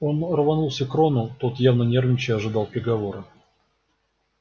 оно рванулся к рону тот явно нервничая ожидал приговора